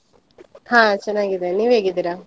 ಹಾ ಚೆನ್ನಾಗಿದ್ದೇನೆ, ನೀವು ಹೇಗಿದ್ದೀರಾ?